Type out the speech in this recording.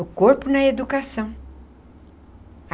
O corpo na educação.